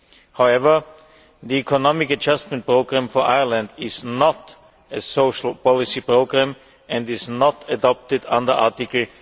However, the Economic Adjustment Programme for Ireland is not a social policy programme and is not adopted under Article